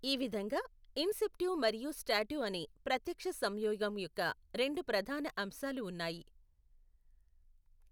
ఈ విధంగా ఇన్సెప్టివ్ మరియు స్టాటివ్ అనే ప్రత్యక్ష సంయోగం యొక్క రెండు ప్రధాన అంశాలు ఉన్నాయి.